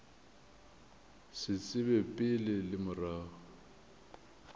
sa tsebe pele le morago